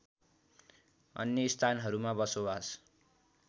अन्य स्थानहरूमा बसोबास